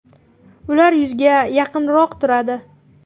Ular yuzga yaqinroq turadi.